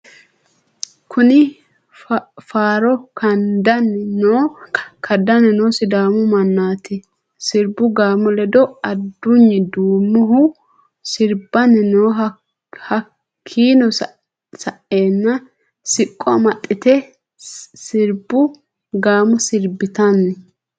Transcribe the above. Kunni faarro kadani noo sidàamu manati siribu gàamo ledo aduyni duumohu siribanni no hakiino sa'eena siqqo amaxite siribu gàamo siribitanni.